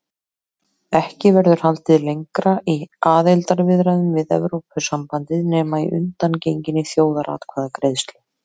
Ekki verður haldið lengra í aðildarviðræðum við Evrópusambandið nema að undangenginni þjóðaratkvæðagreiðslu.